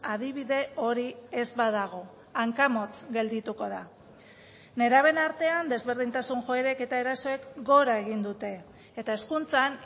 adibide hori ez badago hankamotz geldituko da nerabeen artean desberdintasun joerek eta erasoek gora egin dute eta hezkuntzan